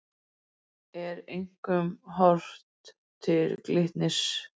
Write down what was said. Er einkum horft til Glitnis